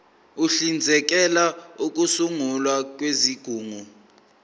uhlinzekela ukusungulwa kwezigungu